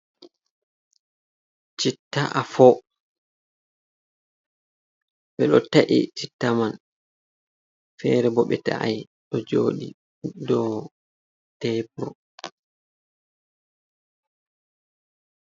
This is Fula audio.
Citta afo. Ɓe ɗo ta’i citta man, feere bo ɓe ta’ai, ɗo jooɗi do tebur.